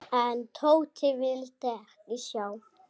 En Tóti vildi ekki sjá.